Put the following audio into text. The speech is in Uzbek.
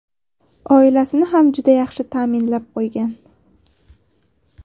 Oilasini ham juda yaxshi ta’minlab qo‘ygan.